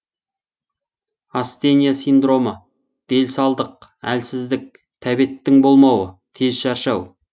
астения синдромы делсалдық әлсіздік тәбеттің болмауы тез шаршау